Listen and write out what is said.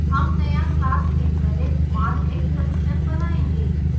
हम नया class invalidmarkexception बनायेंगे